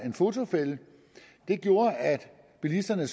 en fotofælde det gjorde at bilisterne